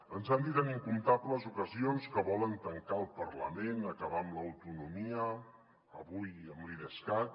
ens han dit en incomptables ocasions que volen tancar el parlament acabar amb l’autonomia avui amb l’idescat